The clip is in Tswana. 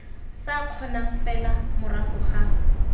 sa kgonang fela morago ga